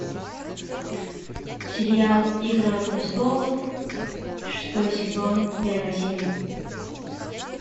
сериал игра престолов шестой сезон первая серия